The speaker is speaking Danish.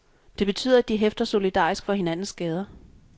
Det betyder, at de hæfter solidarisk for hinandens skader.